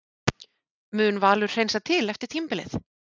Mun Valur hreinsa til eftir tímabilið?